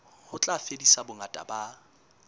ho tla fedisa bongata ba